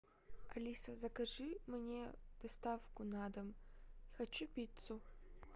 алиса закажи мне доставку на дом хочу пиццу